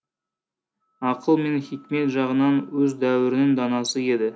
ақыл мен хикмет жағынан өз дәуірінің данасы еді